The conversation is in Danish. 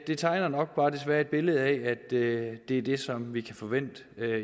det tegner nok bare desværre et billede af at det er det som vi kan forvente